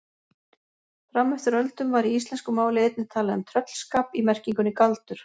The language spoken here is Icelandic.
Fram eftir öldum var í íslensku máli einnig talað um tröllskap í merkingunni galdur.